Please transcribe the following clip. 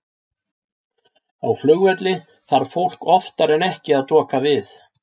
Á flugvelli þarf fólk oftar en ekki að doka við.